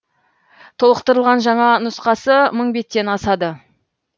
толықтырылған жаңа нұсқасы мың беттен асады